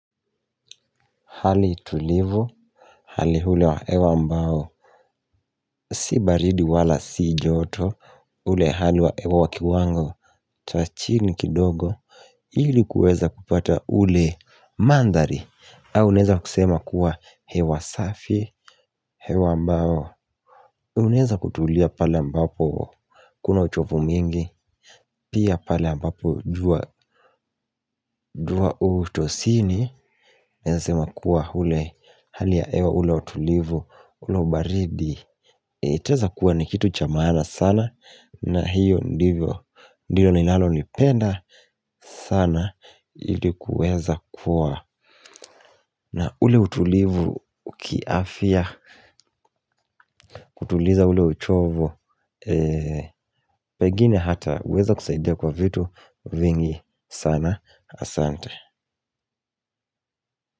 Hali tulivu. Hali ule wa hewa ambao si baridi wala si joto ule hali wa hewa wa kiwango cha chini kidogo. Ili kuweza kupata ule mandhari au unaeza kusema kuwa hewa safi. Hewa ambao unaeza kutulia pale ambapo kuna uchofu mingi. Pia pale ambapo jua u utosini. Naeza sema kuwa ule hali ya hewa ule wa utulivu ule ubaridi itaeza kuwa ni kitu cha maana sana na hiyo ndivyo ndilo ninalolipenda sana ili kuweza kuwa na ule utulivu kiafya kutuliza ule uchovu pengini hata huweza kusaidia kwa vitu vingi sana asante.